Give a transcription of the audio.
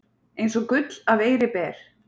Eins og gull af eiri ber